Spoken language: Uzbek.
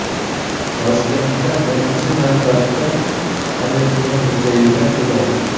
Toshkentda, birinchi navbatda, Amir Temur muzeyiga yo‘l oldik.